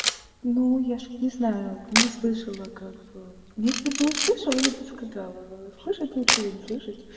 ну я ж не знаю не слышала как бы если бы услышала я бы сказала слышать лучше или не слышать